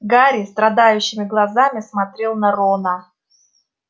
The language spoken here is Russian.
гарри страдающими глазами смотрел на рона